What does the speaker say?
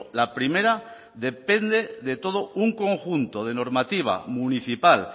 la primera depende de todo un conjunto de normativa municipal